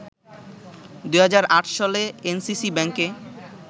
২০০৮ সালে এনসিসি ব্যাংকে